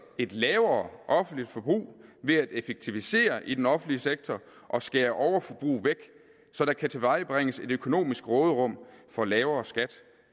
et lavere offentligt forbrug ved at effektivisere i den offentlige sektor og skære overforbrug væk så der kan tilvejebringes et økonomisk råderum for lavere skat